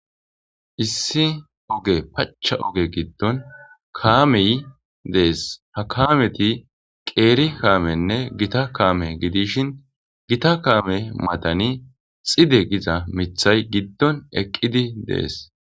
issi oge pacha oge giddon kaamey dees ha kaameti qeeri kaamenne gita kaame gidishin gita kaame matani xide giza mithay giddon eqqidi dees